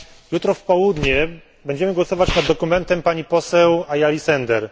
Jutro w południe będziemy głosować nad dokumentem pani poseł Ayali Sender.